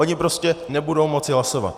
Oni prostě nebudou moci hlasovat.